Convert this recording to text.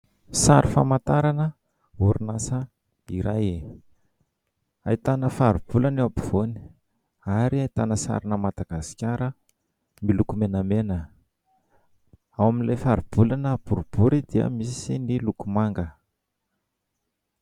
Sary famantarana orinasa iray, ahitana faribolana eo ampovoany ary ahitana sarina Madagasikara miloko menamena. Ao amin'ilay faribolana boribory dia misy ny loko manga.